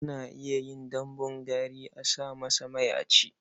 Ana yin dambun gari a sa masa mai a ci.